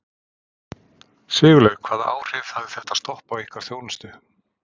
Sigurlaug, hvaða áhrif hafði þetta stopp á ykkar þjónustu?